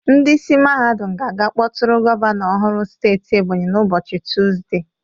Ndị isi mahadum ga-aga kpọtụrụ gọvanọ ọhụrụ steeti Ebonyi na ụbọchị Tuuzde.